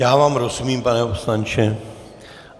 Já vám rozumím, pane poslanče.